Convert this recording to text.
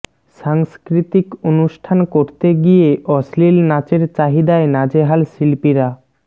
সাংস্কৃতিক অনুষ্ঠান করতে গিয়ে অশ্লীল নাচের চাহিদায় নাজেহাল শিল্পীরা